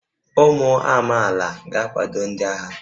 Ụmụ amaala ga-akwado ndị agha